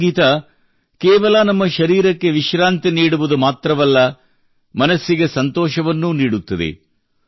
ಈ ಸಂಗೀತ ಕೇವಲ ನಮ್ಮ ಶರೀರಕ್ಕೆ ವಿಶ್ರಾಂತಿ ನೀಡುವುದು ಮಾತ್ರವಲ್ಲ ಮನಸ್ಸಿಗೆ ಸಂತೋಷವನ್ನೂ ನೀಡುತ್ತದೆ